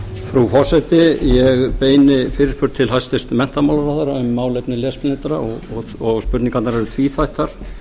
frú forseti ég beini fyrirspurn til hæstvirts menntamálaráðherra um málefni lesblindra og spurningarnar eru tvíþættar